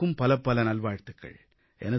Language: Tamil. அனைவருக்கும் பலப்பல நல்வாழ்த்துகள்